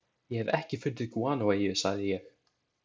Ég hef ekki fundið gúanóeyju, sagði ég.